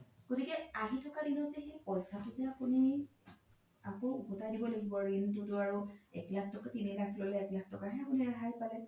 গতিকে আহি থকা দিনত যে পইচা কেইতা আপোনি আকৌ উভ্তাই দিব লাগিব ৰিনতো আৰু তিনি লাখ এক লাখ তকা হে আপোনি ৰেহাই পালে